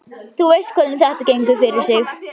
Þú veist hvernig þetta gengur fyrir sig.